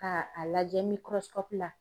Ka a lajɛ miikɔrɔsi kɔpu la